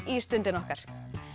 í Stundin okkar